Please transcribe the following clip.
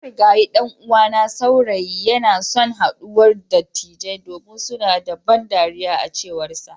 Marigayi dan'uwana saurayi yanason haduwar dattijai domin suna da ban dariya a cewarsa.